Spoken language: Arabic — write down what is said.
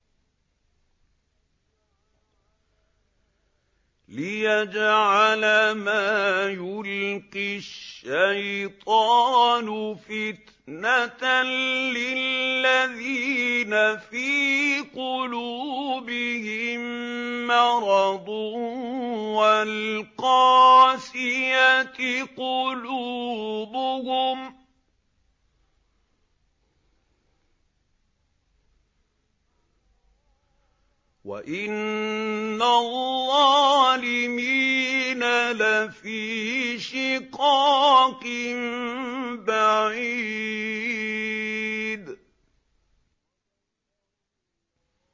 لِّيَجْعَلَ مَا يُلْقِي الشَّيْطَانُ فِتْنَةً لِّلَّذِينَ فِي قُلُوبِهِم مَّرَضٌ وَالْقَاسِيَةِ قُلُوبُهُمْ ۗ وَإِنَّ الظَّالِمِينَ لَفِي شِقَاقٍ بَعِيدٍ